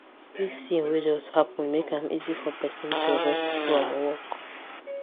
this thing wey just happen make am easy for person to rest from work